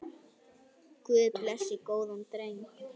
Guð blessi góðan dreng.